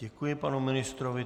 Děkuji panu ministrovi.